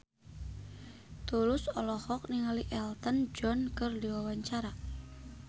Tulus olohok ningali Elton John keur diwawancara